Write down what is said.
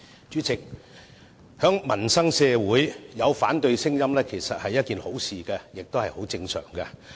主席，社會上有反對聲音其實是好事，也是很正常的事。